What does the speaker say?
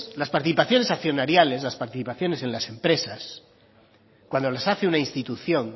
las participaciones accionariales las participaciones en las empresas cuando las hace una institución